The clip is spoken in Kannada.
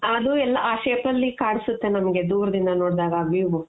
ಅದು ಎಲ್ಲಾ ಆ shape ಅಲ್ಲಿ ಕಾಣ್ಸುತ್ತೆ ನಮ್ಗೆ ದೂರ್ದಿಂದ ನೋಡ್ದಾಗ ಆ view